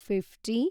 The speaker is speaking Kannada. ಫಿಪ್ಟಿ